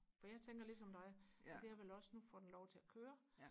for jeg tænker lige som dig at jeg vil også nu får den lov til og køre